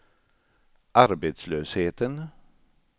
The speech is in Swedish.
arbetslösheten